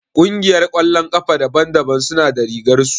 Ƙungiyar ƙwallon ƙafa daban daban suna da rigar su